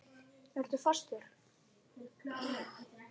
Ertu fastur?